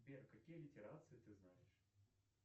сбер какие литерации ты знаешь